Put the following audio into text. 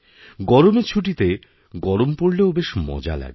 গরমেরছুটিতে গরম পড়লেও বেশ মজা লাগে